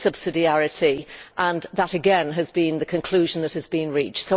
this is subsidiarity and that again has been the conclusion that has been reached.